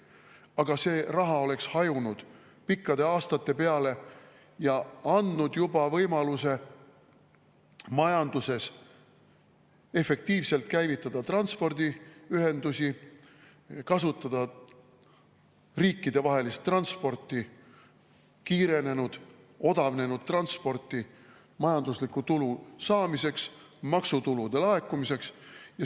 Aga see raha oleks hajunud pikkade aastate peale ja andnud juba võimaluse majanduses efektiivselt käivitada transpordiühendusi, kasutada riikidevahelist transporti, kiirenenud ning odavnenud transporti majandusliku tulu saamiseks ja maksutulude laekumiseks.